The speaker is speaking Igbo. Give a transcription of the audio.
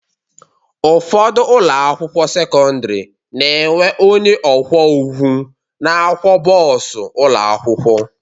Ụfọdụ ụlọakwụkwọ sekọndịrị na-enwe onye ọkwọụgwụ na-akwọ bọọsụ ụlọakwụkwọ